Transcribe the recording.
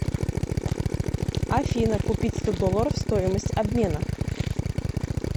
афина купить сто долларов стоимость обмена